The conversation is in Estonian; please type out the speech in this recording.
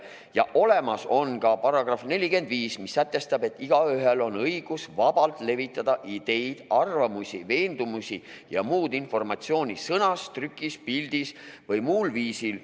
Ja olemas on ka § 45, mis sätestab, et igaühel on õigus vabalt levitada ideid, arvamusi, veendumusi ja muud informatsiooni sõnas, trükis, pildis või muul viisil.